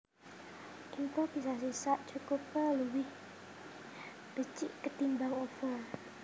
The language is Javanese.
Improvisasi sakcukupé luwih becik ketimbang over